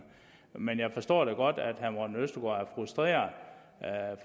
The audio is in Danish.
men jeg forstår da godt at herre morten østergaard er frustreret